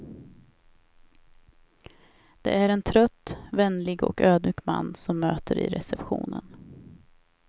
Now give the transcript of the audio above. Det är en trött, vänlig och ödmjuk man som möter i receptionen.